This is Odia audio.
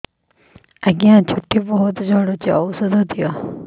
ଆଜ୍ଞା ଚୁଟି ବହୁତ୍ ଝଡୁଚି ଔଷଧ ଦିଅ